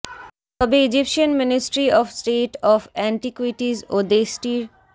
তবে Egyptian ministry of state of antiquities ও দেশটির